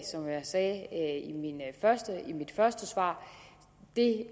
som jeg sagde i mit første svar